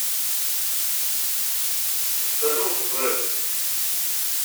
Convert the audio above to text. салют фред